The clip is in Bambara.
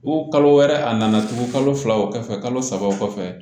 kalo wɛrɛ a nana tugun kalo fila o kɔfɛ kalo saba o kɔfɛ